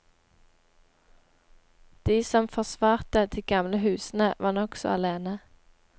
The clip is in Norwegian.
De som forsvarte de gamle husene, var nokså alene.